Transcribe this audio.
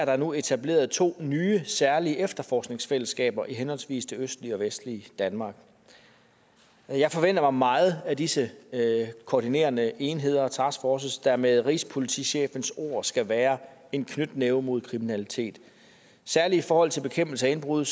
nu etableret to nye særlige efterforskningsfællesskaber i henholdsvis det østlige og vestlige danmark jeg forventer mig meget af disse koordinerende enheder og taskforces der med rigspolitichefens ord skal være en knytnæve mod kriminalitet særlig i forhold til bekæmpelse af indbrud